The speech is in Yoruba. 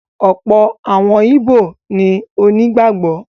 ọ̀pọ̀ àwọn ìbó ni onígbàgbọ́.